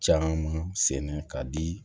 Caman sɛnɛ ka di